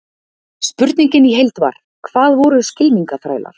Spurningin í heild var: Hvað voru skylmingaþrælar?